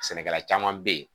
Sɛnɛkɛla caman bɛ yen